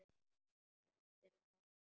Penslið með vatni.